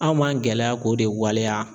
Anw m'an gɛlɛya k'o de waleya.